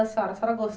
Da senhora, a senhora